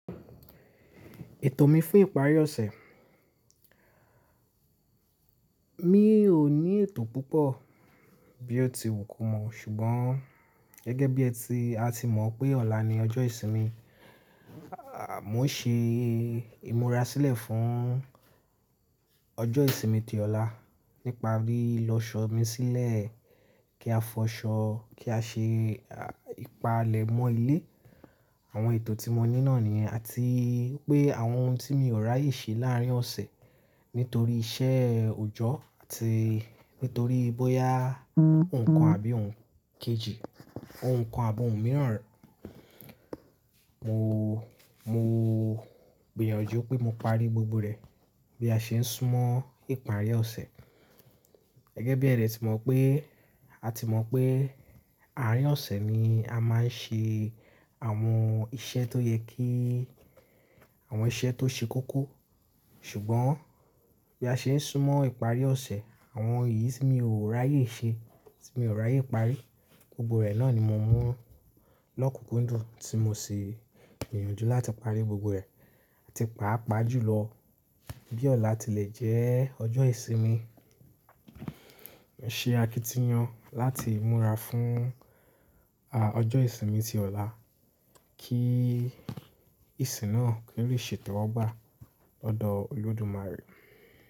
Ètò mi fún ìparí ọ̀sẹ̀. Mi ò ní ètò púpọ̀ bí ó ti wù kò mọ̀, ṣùgbọ́n gẹ́gẹ́ bí ẹ ti, a ti mọ̀ pé ọ̀la ni ọjọ́ ìsinmi, à mo ṣe ìmúra sílẹ̀ fún ọjọ́ ìsinmi ti ọ̀la nípa lí lọ ṣọ́ mi sílẹ̀ kí a fọṣọ, kí a ṣe ìpalẹ̀mọ́ ilé. Àwọn ètò tí mo ní náà nìyẹn àti pé àwọn ohun tí mi ò ráyè ṣe láàrín ọ̀sẹ̀ nítorí iṣẹ́ òjọ́ àti nítorí bóyá nǹkan àbí òún kejì, ohun kan àbọ̀ ohun mìíràn. Mo, mo gbìyànjú pé mo parí gbogbo rẹ̀ bí a ṣe ń súnmọ́ ìparí ọ̀sẹ̀. Gẹ́gẹ́ bí ẹ dẹ̀ ti mọ̀ pé, a ti mọ̀ pé, àárín ọ̀sẹ̀ ni a máa ń ṣe àwọn iṣẹ́ tó yẹ kí, àwọn iṣẹ́ tó ṣe kókó. Ṣùgbọ́n bí a ṣe ń súnmọ́ ìparí ọ̀sẹ̀, àwọn èyí tí mi ò ráyè ṣe, tí mi ò ráyè parí, gbogbo rẹ̀ náà ni mo mú lọ́kùnkúndùn tí mo sì gbìyànjú láti parí gbogbo ẹ̀, àti pàápàá jùlọ bí ọ̀la ti lè jẹ́ ọjọ́ ìsinmi. Ṣe akitiyan láti múra fún, ah, ọjọ́ ìsinmi ti ọ̀la kí ìsìn náà kó lè ṣètò ọ́ gbà lọ́dọ̀ Olódùmarè.